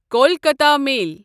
Kolkata میل